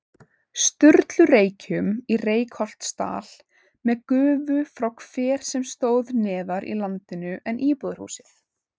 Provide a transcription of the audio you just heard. Sturlureykjum í Reykholtsdal með gufu frá hver sem stóð neðar í landinu en íbúðarhúsið.